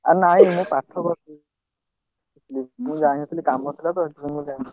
ଆଉ ନାଇଁ ମୁଁ ପାଠ କରିଚି। ମୁଁ ଯାଇନଥିଲି କାମ ଥିଲାତ ସେଥିପାଇଁ ମୁଁ ଯାଇନଥିଲି।